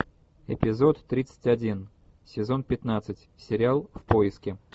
эпизод тридцать один сезон пятнадцать сериал в поиске